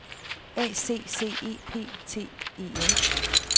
A C C E P T E N